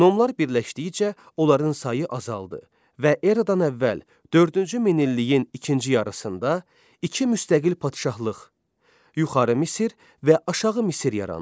Nomlar birləşdikcə onların sayı azaldı və eradan əvvəl dördüncü minilliyin ikinci yarısında iki müstəqil padşahlıq, yuxarı Misir və aşağı Misir yarandı.